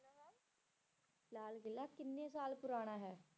ਲਾਲ ਕਿਲ੍ਹਾ ਕਿੰਨੇ ਸਾਲ ਪੁਰਾਣਾ ਹੈ?